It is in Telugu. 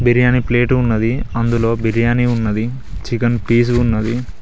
బిర్యానీ ప్లేట్ ఉన్నది అందులో బిర్యాని ఉన్నది చికెన్ పీస్ ఉన్నది.